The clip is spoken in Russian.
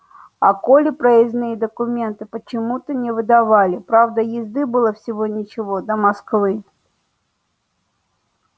а коле проездные документы почему то не выдавали правда езды было всего ничего до москвы